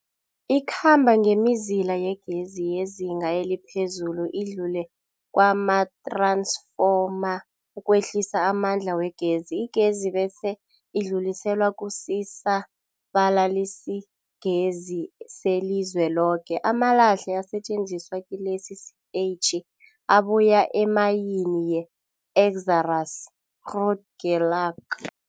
Ikhamba ngemizila yegezi yezinga eliphezulu idlule kumath-ransfoma ukwehlisa amandla wegezi. Igezi bese idluliselwa kusisa-balalisigezi selizweloke. Amalahle asetjenziswa kilesi sitetjhi abuya emayini yeExxaro's Grootegeluk.